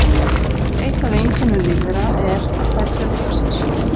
Eitt af einkennum lífvera er að þær fjölga sér.